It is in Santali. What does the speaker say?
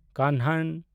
ᱠᱟᱱᱦᱟᱱ